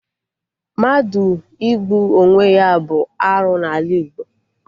Mmadụ igbu onwe ya bụ arụ n'ala Igbo